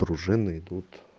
пружины идут